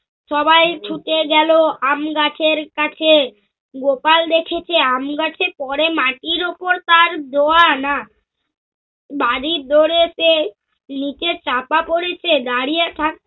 সবাই ছুটে গেল আমগাছের কাছে। গোপাল দেখেছে আমগাছে পরে মাটির ওপরে তার দোয়া না বাড়ীর দোরে পেয়ে নিচে চপা পড়েছে দাঁড়িয়ে থাকে~